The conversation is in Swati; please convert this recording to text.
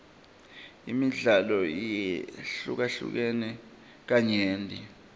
imidlalo yehlukene kanyenti